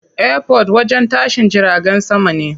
Airport wajen tashin jiragen sama ne.